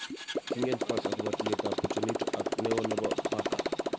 Kiingen Spurs akobo tuiyetab Pochettino ak ne oo nebo Barca